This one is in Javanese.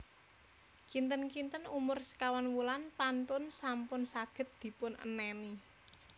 Kinten kinten umur sekawan wulan pantun sampun saged dipun enèni